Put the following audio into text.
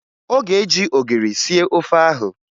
Ọ ga-eji ogiri sie ofe ahụ